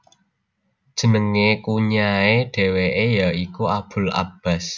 Jeneng Kunyahe dheweke ya iku Abul Abbas